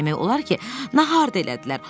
Demək olar ki, nahar da elədilər.